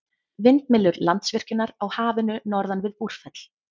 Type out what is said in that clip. Vindmyllur Landsvirkjunar á Hafinu norðan við Búrfell.